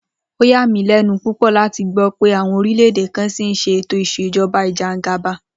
Ó yà mí lé̩nu púpò̩ láti gbó̩ pé àwo̩n orílè̩-èdè kan s̩ì ń s̩e ètò ìs̩èjo̩ba ìje̩gàba